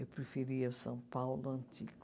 Eu preferia o São Paulo antigo.